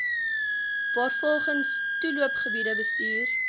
waarvolgens toeloopgebiede bestuur